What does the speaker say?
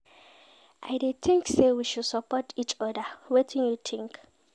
I dey think say we should support each oda, wetin you think?